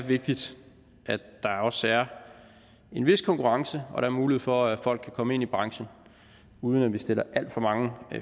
vigtigt at der er en vis konkurrence og der mulighed for at folk kan komme ind i branchen uden at vi stiller alt for mange